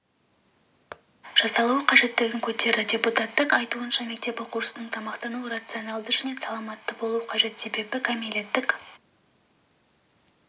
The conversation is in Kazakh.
жасалуы қажеттігін көтерді депутаттың айтуынша мектеп оқушысының тамақтануы рационалды және саламатты болуы қажет себебі кәмелеттік